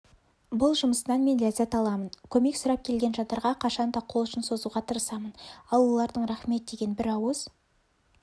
бұл жұмысымнан мен ләззат аламын көмек сұрап келген жандарға қашан да қол ұшын созуға тырысамын ал олардың рахмет деген бір ауыз